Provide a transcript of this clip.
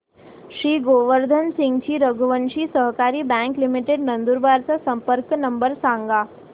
श्री गोवर्धन सिंगजी रघुवंशी सहकारी bank limited Nandurbar चा संपर्क नंबर सांगा